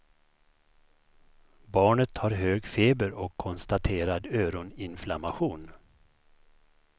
Barnet har hög feber och konstaterad öroninflammation.